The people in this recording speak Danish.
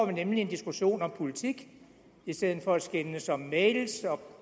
vi nemlig en diskussion om politik i stedet for at skændes om mails